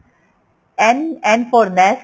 n n for nest